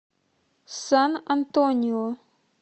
сан антонио